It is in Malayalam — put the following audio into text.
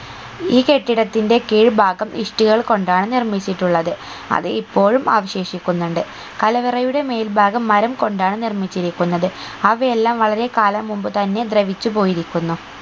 ഈ കെട്ടിടത്തിന്റെ കീഴ് ഭാഗം ഇഷ്ടികകൾ കൊണ്ടാണ് നിർമ്മിച്ചിട്ടുള്ളത് അത് ഇപ്പോഴും അവശേഷിക്കുന്നുണ്ട് കലവറയുടെ മേൽഭാഗം മരം കൊണ്ടാണ് നിർമ്മിച്ചിരിക്കുന്നത് അവയെല്ലാം വളരെ കാലം മുമ്പ് തന്നെ ദ്രവിച്ച് പോയിരിക്കുന്നു